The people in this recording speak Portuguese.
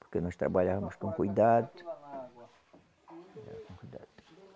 Porque nós trabalhávamos com cuidado. Era com cuidado.